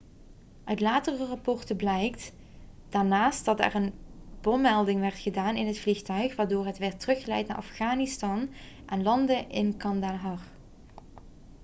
uit latere rapporten blijkt daarnaast dat er een bommelding werd gedaan in het vliegtuig waardoor het werd teruggeleid naar afghanistan en landde in kandahar